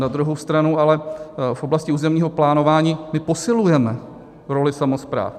Na druhou stranu ale v oblasti územního plánování my posilujeme roli samospráv.